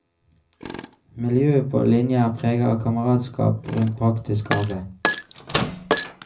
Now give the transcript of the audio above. Miljøet på linja er prega av kameratskap rundt praktisk arbeid.